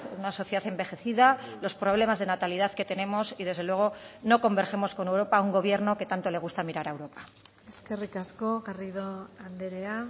una sociedad envejecida los problemas de natalidad que tenemos y desde luego no convergemos con europa un gobierno que tanto le gusta mirar a europa eskerrik asko garrido andrea